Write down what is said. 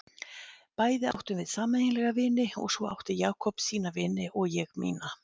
Bæði áttum við sameiginlega vini og svo átti Jakob sína vini og ég mína.